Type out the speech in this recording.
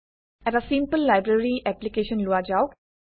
এটা simple library application লোৱা যাওক